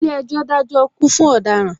Ilé ejò dajo ikú fún ọ̀daràn